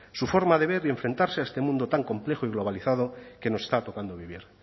su forma de ver y enfrentarse a este mundo tan complejo y globalizado que nos está tocando vivir